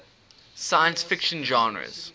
science fiction genres